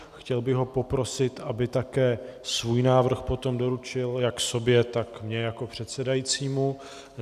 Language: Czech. Chtěl bych ho poprosit, aby také svůj návrh potom doručil jak sobě, tak mně jako předsedajícímu.